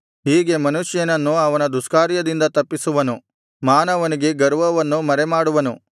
ಹೀಗೆ ಮನುಷ್ಯನನ್ನು ಅವನ ದುಷ್ಕಾರ್ಯದಿಂದ ತಪ್ಪಿಸುವನು ಮಾನವನಿಗೆ ಗರ್ವವನ್ನು ಮರೆಮಾಡುವನು